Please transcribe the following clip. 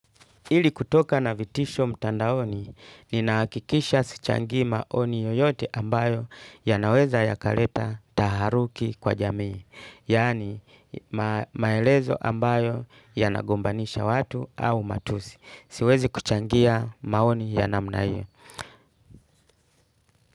Ili kutoka na vitisho mtandaoni, ninahakikisha sichangii maoni yoyote ambayo yanaweza yakaleta taharuki kwa jamii. Yani maelezo ambayo yanagombanisha watu au matusi. Siwezi kuchangia maoni ya namna hiyo.